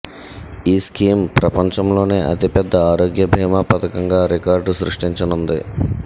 ఈ స్కీం ప్రపంచంలోనే అతి పెద్ద ఆరోగ్య బీమా పథకంగా రికార్డు సృష్టించనుంది